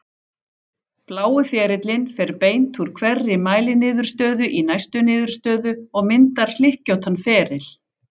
Blái ferillinn fer beint úr hverri mæliniðurstöðu í næstu niðurstöðu og myndar hlykkjóttan feril.